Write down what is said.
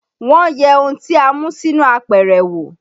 Wọ́n yẹ ohun tí a mú sínú apẹ̀rẹ̀ wo